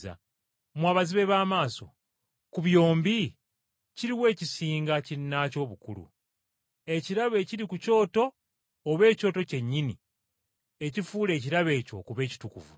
Mmwe abazibe b’amaaso, ku byombi kiruwa ekisinga kinnaakyo obukulu, ekirabo ekiri ku kyoto oba ekyoto kyennyini ekifuula ekirabo ekyo okuba ekitukuvu?